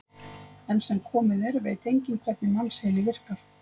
Enn sem komið er veit enginn hvernig mannsheili virkar.